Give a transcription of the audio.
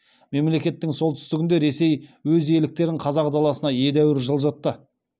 мемлекеттің солтүстігінде ресей өз иеліктерін қазақ даласына едәуір жылжытты